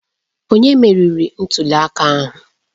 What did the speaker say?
Onye meriri ntuli aka ahụ?